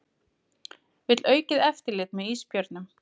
Vill aukið eftirlit með ísbjörnum